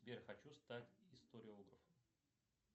сбер хочу стать историографом